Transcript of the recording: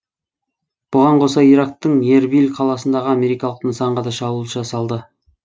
бұған қоса ирактың эрбиль қаласындағы америкалық нысанға да шабуыл жасалды